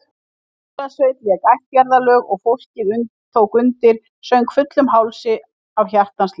Lúðrasveit lék ættjarðarlög og fólkið tók undir, söng fullum hálsi af hjartans lyst.